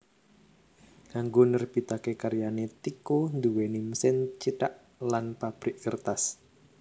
Kanggo nerbitaké karyané Tycho nduwé mesin cithak lan pabrik kertas